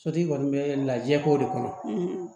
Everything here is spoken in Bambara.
Sotigi kɔni bɛ lajɛ k'o de kɔnɔ